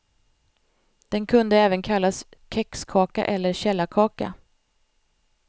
Den kunde även kallas kexkaka eller källarkaka.